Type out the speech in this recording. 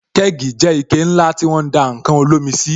Kẹ́gì jẹ́ ike ńlá tí won ń dá ǹkan olómi sí